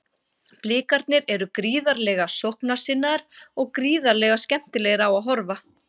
Blikarnir eru gríðarlega sóknarsinnaðir og gríðarlega skemmtilegir á að horfa.